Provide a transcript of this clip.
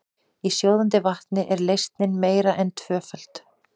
Í sjóðandi vatni er leysnin meira en tvöföld.